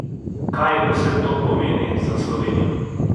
Kaj vse to pomeni za Slovenijo?